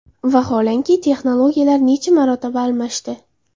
Vaholanki, texnologiyalar necha marotaba almashdi.